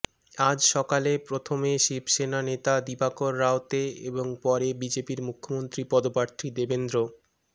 আজ সকালে প্রথমে শিবসেনা নেতা দিবাকর রাওতে এবং পরে বিজেপির মুখ্যমন্ত্রী পদপ্রার্থী দেবেন্দ্র